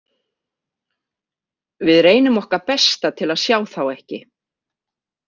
Við reynum okkar besta til að sjá þá ekki.